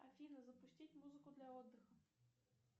афина запустить музыку для отдыха